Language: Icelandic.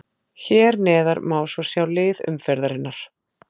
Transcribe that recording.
Hér neðar má svo sjá lið umferðarinnar.